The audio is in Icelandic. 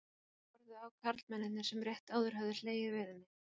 Þeir horfðu á karlmennirnir sem rétt áður höfðu hlegið við henni.